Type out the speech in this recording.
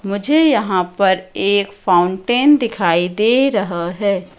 मुझे यहां पर एक फाउंटेन दिखाई दे रहा है।